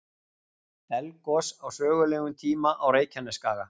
Eldgos á sögulegum tíma á Reykjanesskaga.